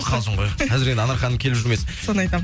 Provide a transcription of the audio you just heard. қалжың ғой қазір енді анар ханым келіп жүрмесін соны айтамын